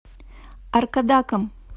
аркадаком